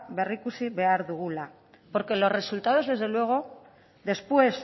berrikusi behar dugula porque los resultados desde luego después